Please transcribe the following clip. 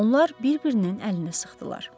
Onlar bir-birinin əlini sıxdılar.